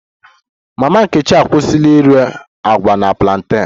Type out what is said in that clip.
Mama nkechi akwụsịla ire agwa na plantain